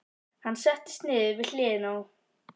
Hann settist niður við hliðina á